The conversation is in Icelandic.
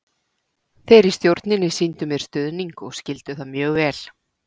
Þeir í stjórninni sýndu mér stuðning og skildu það mjög vel.